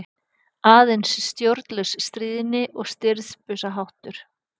Aðeins stjórnlaus stríðni og stirðbusaháttur.